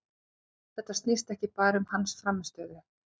Þetta snýst ekki bara um hans frammistöðu.